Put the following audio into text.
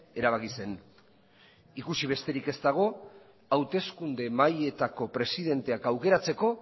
erabaki zen ikusi besterik ez dago hauteskunde mahaietako presidenteak aukeratzeko